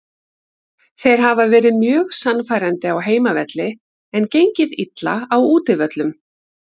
Þeir hafa verið mjög sannfærandi á heimavelli en gengið illa á útivöllum.